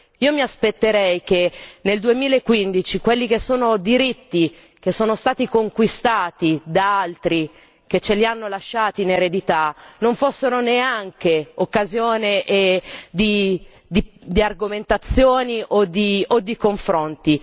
Io mi aspetterei che nel 2015 quelli che sono diritti che sono stati conquistati da altri, che ce li hanno lasciati in eredità, non fossero neanche occasione di argomentazioni o di confronti.